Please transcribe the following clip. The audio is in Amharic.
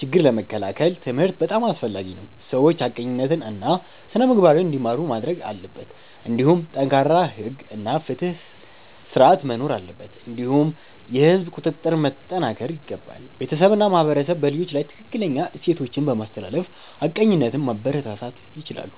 ችግኝ ለመከላከል ትምህርት በጣም አስፈላጊ ነው፤ ሰዎች ሐቀኝነትን እና ስነ-ምግባርን እንዲማሩ ማድረግ አለበት። እንዲሁም ጠንካራ ሕግ እና ፍትሕ ስርዓት መኖር አለበት እንዲሁም የህዝብ ቁጥጥር መጠናከር ይገባል። ቤተሰብ እና ማህበረሰብ በልጆች ላይ ትክክለኛ እሴቶችን በማስተላለፍ ሐቀኝነትን ማበረታታት ይችላሉ።